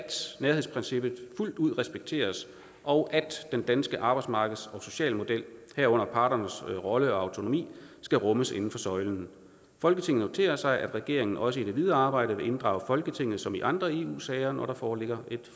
nærhedsprincippet fuldt ud respekteres og at den danske arbejdsmarkeds og socialmodel herunder parternes rolle og autonomi skal rummes inden for søjlen folketinget noterer sig at regeringen også i det videre arbejde vil inddrage folketinget som i andre eu sager når der foreligger